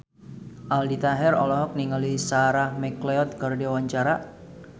Aldi Taher olohok ningali Sarah McLeod keur diwawancara